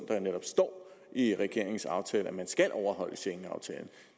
jo netop står i regeringens aftale at man skal overholde schengenaftalen